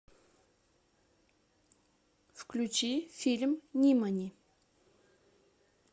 включи фильм нимани